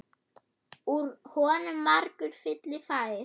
Úr honum margur fylli fær.